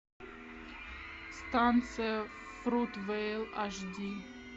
станция фрут вейл аш ди